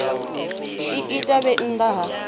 i ita vhe nnḓa ha